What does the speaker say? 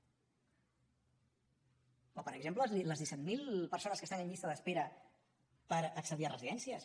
o per exemple les disset mil persones que estan en llista d’espera per accedir a residències